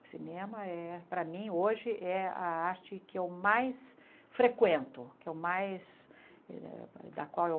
O cinema, é para mim, hoje é a arte que eu mais frequento, que eu mais da qual eu